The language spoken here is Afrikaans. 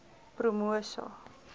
promosa